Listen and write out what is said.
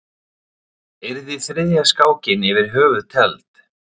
Yrði þriðja skákin yfir höfuð tefld?